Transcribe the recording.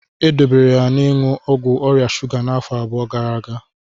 E dobere ya n'iṅụ ọgwụ ọrịa shuga n'afọ abụọ gara aga.